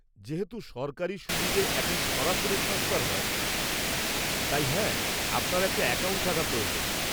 যেহেতু সব সরকারি সুবিধে এখন সরাসরি ট্রান্সফার হয়, তাই হ্যাঁ, আপনার একটা অ্যাকাউন্ট থাকা প্রয়োজন।